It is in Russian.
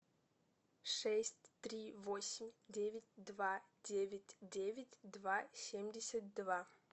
шесть три восемь девять два девять девять два семь семьдесят два